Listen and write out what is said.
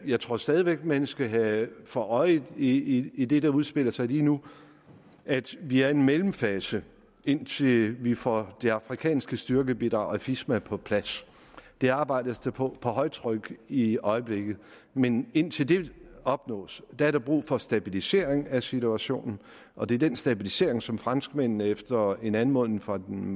jeg tror stadig væk man skal have for øje i i det der udspiller sig lige nu at vi er i en mellemfase indtil vi får det afrikanske styrkebidrag afisma på plads det arbejdes der på på højtryk i øjeblikket men indtil det opnås er der brug for stabilisering af situationen og det er den stabilisering som franskmændene efter en anmodning fra den